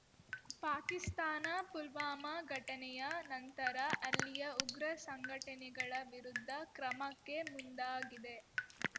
ಪಾಕಿಸ್ತಾನ ಪುಲ್ವಾಮಾ ಘಟನೆಯ ನಂತರ ಅಲ್ಲಿಯ ಉಗ್ರ ಸಂಘಟನೆಗಳ ವಿರುದ್ಧ ಕ್ರಮಕ್ಕೆ ಮುಂದಾಗಿದೆ